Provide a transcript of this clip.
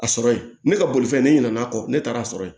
A sɔrɔ ye ne ka bolifɛn ne ɲinɛna kɔ ne taara' sɔrɔ yen